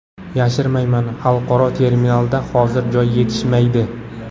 Yashirmayman, xalqaro terminalda hozir joy yetishmaydi.